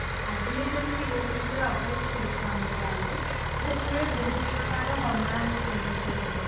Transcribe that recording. periodରୁ ଯେତେବେଳେ adult stageକୁ ମାର ଯାଆନ୍ତି ତ ସେତେବେଳେ ବହୁତ ପ୍ରକାରର hormonal changes ଦେଖା ଯାଏ